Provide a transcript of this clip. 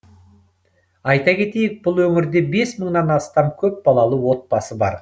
айта кетейік бұл өңірде бес мыңнан астам көпбалалы отбасы бар